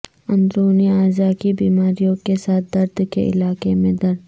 اندرونی اعضاء کی بیماریوں کے ساتھ درد کے علاقے میں درد